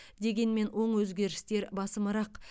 дегенмен оң өзгерістер басымырақ